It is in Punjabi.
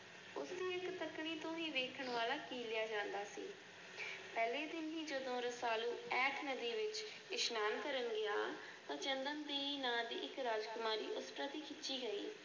ਇਸ ਤੱਕਣੀ ਤੋਂ ਵੀ ਵੇਖਣ ਵਾਲਾ ਕੀਲਿਆ ਜਾਂਦਾ ਸੀ। ਪਹਿਲੇ ਦਿਨ ਹੀ ਜਦੋਂ ਰਸਾਲੂ ਅਸ ਨਦੀ ਵਿਚ ਇਸ਼ਨਾਨ ਕਰਨ ਗਿਆ ਤੇ ਚੰਦਨ ਦੇ ਨਾਂ ਦੀ ਰਾਜਕੁਮਾਰੀ ਉਸ ਪ੍ਰਤੀ ਖਿੱਚੀ ਗਈ।